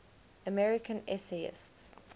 american essayists